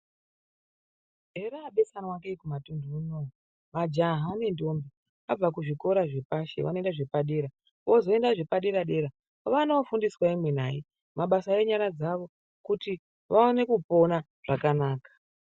Herabesanwa kei kumatuntu unono. Majaha nendombi abva kuzvikora zvepashi vanoenda kuzvikora zvedera, ozoenda zvepadera-dera vanofundiswa imwi nai mabasa enyara dzawo kuti vaone kupona zvakanaka.